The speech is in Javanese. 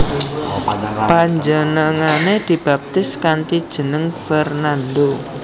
Panjenengané dibaptis kanthi jeneng Fernando